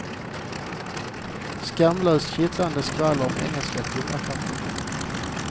Skamlöst, kittlande skvaller om engelska kungafamiljen.